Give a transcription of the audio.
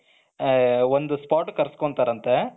ಒಂದು spot ಗೆ ಕರ್ಸ್ಕೊಂತಾರಂತೆ.